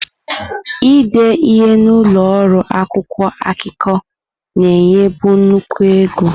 Ide ihe n'ụlọ ọrụ akwụkwọ akụkọ na-enyebu nnukwu ego.